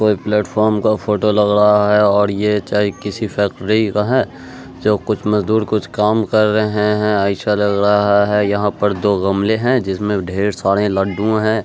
कोई प्लेटफॉर्म का फोटो लग रहा है और ये चाहे किसी फैक्ट्री का है जो कुछ मजदुर कुछ काम कर रहे है ऐसा लग रहा है यहां पर दो गमले हैं जिसमें ढेर सारे लड्डू हैं।